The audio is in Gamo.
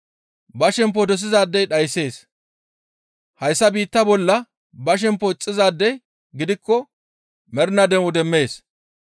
Ba shempo dosizaadey dhayssees. Hayssa biittaa bolla ba shemppo ixxizaadey gidikko mernaa de7o demmees.